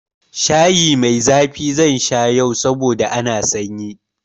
Shayi mai zafi zan sha yau saboda ana sanyi.